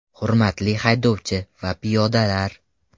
Hurmatli haydovchi va piyodalar!